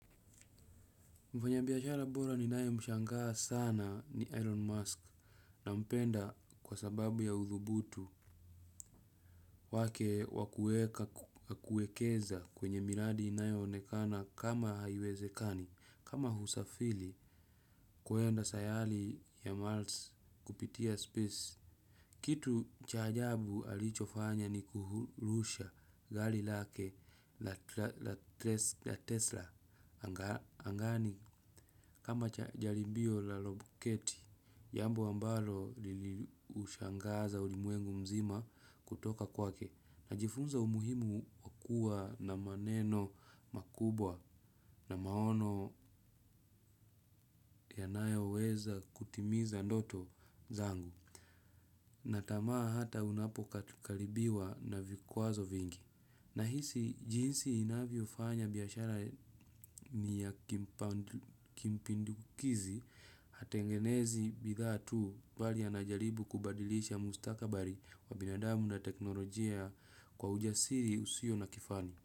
Mfanyabiashara bora ninaye mshangaa sana ni Elon Musk nampenda kwa sababu ya uthubutu wake wa kuekeza kwenye miradi inayoonekana kama haiwezekani, kama husafili kuenda sayali ya malts kupitia space. Kitu cha ajabu alichofanya ni kuhurusha gali lake la Tesla angani kama jaribio la lobuketi. Jambo ambalo liliushangaza ulimwengu mzima kutoka kwake. Najifunza umuhimu wa kuwa na maneno makubwa na maono yanayoweza kutimiza ndoto zangu. Na tamaa hata unapokaribiwa na vikwazo vingi. Nahisi, jinsi inavyofanya biashara ni ya kimpindukizi hatengenezi bidhaa tu bali anajaribu kubadilisha mustakabari wa binadamu na teknolojia kwa ujasiri usio na kifani.